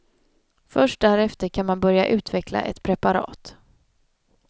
Först därefter kan man börja utveckla ett preparat.